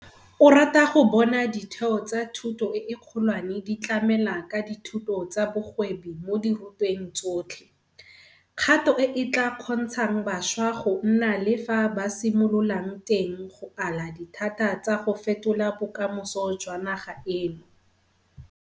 O rata go bona ditheo tsa thuto e kgolwane di tlamela ka dithuto tsa bogwebi mo dirutweng tsotlhe, kgato e e tla kgontshang bašwa go nna le fa ba simololang teng go ala dithata tsa go fetola bokamoso jwa naga eno.